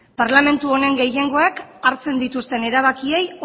parlamentu honen gehiengoak hartzen dituzten erabakiei